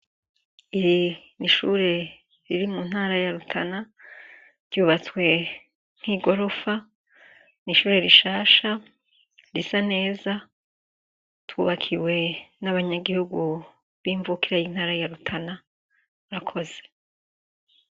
Ishure riri muntara ya rutana ryubatswe nkigorofa nishure rishasha risa neza twubakiwe nabanyagihugu bimvukira yintara ya rutana murakoze